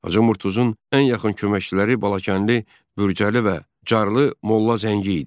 Hacı Murtuzun ən yaxın köməkçiləri Balakənli Bürçəli və Carlı Molla Zəngi idi.